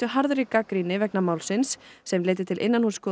harðri gagnrýni vegna málsins sem leiddi til